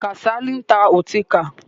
Kàsálí ń ta ọtíkà.